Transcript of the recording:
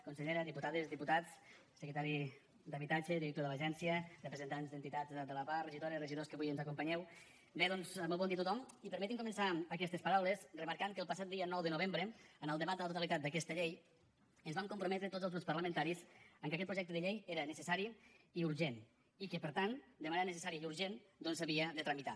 consellera diputades diputats secretari d’habitatge director de l’agència representants d’entitats de la pah regidores regidors que avui ens acompanyeu bé doncs molt bon dia a tothom i permetin me començar aquestes paraules remarcant que el passat dia nou de novembre en el debat de la totalitat d’aquesta llei ens vam comprometre tots els grups parlamentaris que aquest projecte de llei era necessari i urgent i que per tant de manera necessària i urgent doncs s’havia de tramitar